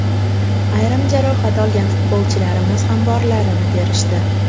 Ayrim jarohat olgan futbolchilarimiz ham borlarini berishdi.